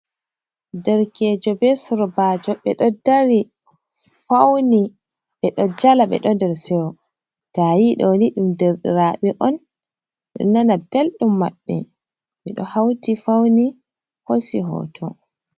Darkejo be sorbajo ɓeɗo dari fauni ɓeɗo jala ɓeɗo nder seyo to ayi ɗoni ɗum derɗiraɓe on ɗo nana belɗum maɓɓe ɓe do hauti fauni hosi hoto.